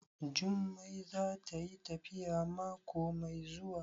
Jummai za tayi tafiya mako mai zuwa?